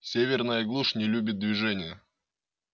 северная глушь не любит движения